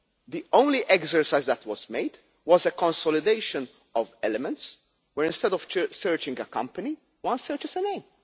The only exercise that was made was a consolidation of elements where, instead of searching a company, one searches a name.